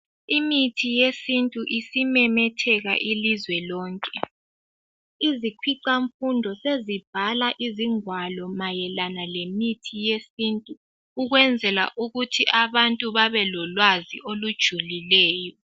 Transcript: Imithi yesintu isimemetheka ilizwe lonke ,izikhwicanfundo sefunda mayelana ngemithi yesintu ukwenzela ukuthi abantu babelolwazi olujulileyo.